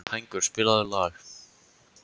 Hængur, spilaðu lag.